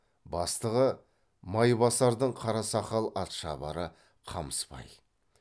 бастығы майбасардың қарасақал атшабары қамысбай